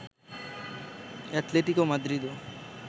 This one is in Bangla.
আতলেতিকো মাদ্রিদও